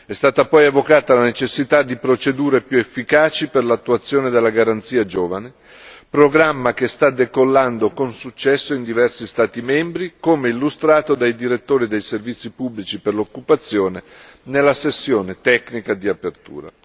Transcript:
È stata poi evocata la necessità di procedure più efficaci per l'attuazione della garanzia Giovani, programma che sta decollando con successo in diversi Stati membri, come illustrato dai direttori dei servizi pubblici per l'occupazione nella sessione tecnica di apertura.